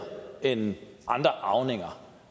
end andre arvinger